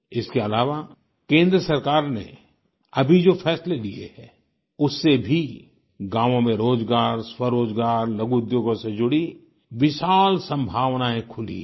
इसके अलावा केंद्र सरकार ने अभी जो फैसले लिए हैं उससे भी गाँवों में रोजगार स्वरोजगार लघु उद्योगों से जुड़ी विशाल संभावनाएँ खुली हैं